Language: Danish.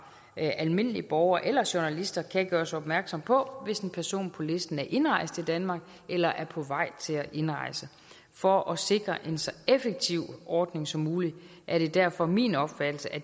af almindelige borgere eller journalister kan gøres opmærksom på hvis en person på listen er indrejst i danmark eller er på vej til at indrejse for at sikre en så effektiv ordning som muligt er det derfor min opfattelse at